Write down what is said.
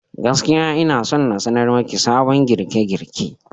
Gaskiya, ina son na sanar maki sabon girke-girke.